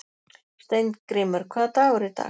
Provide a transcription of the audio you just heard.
Steingrímur, hvaða dagur er í dag?